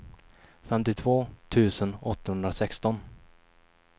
femtiotvå tusen åttahundrasexton